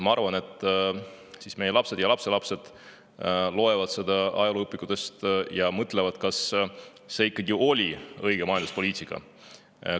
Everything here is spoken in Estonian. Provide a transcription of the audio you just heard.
Ma arvan, et meie lapsed ja lapselapsed loevad sellest ajalooõpikutest ja mõtlevad, kas see ikkagi oli õige majanduspoliitika.